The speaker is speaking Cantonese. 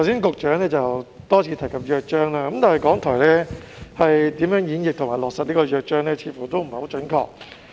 局長剛才多次提及《約章》，但港台在演繹和落實《約章》方面似乎有欠準確。